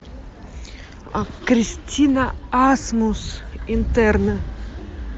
кристина асмус интерны